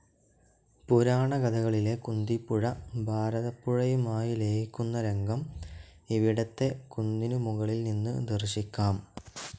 പുരാണ കഥകളിലെ കുന്തിപ്പുഴ ഭാരതപ്പുഴയുമായി ലയിക്കുന്ന രംഗം ഇവിടത്തെ കുന്നിനു മുകളിൽ നിന്ന് ദർശിക്കാം.